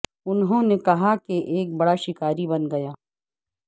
انہوں نے کہا کہ ایک بڑا شکاری بن گیا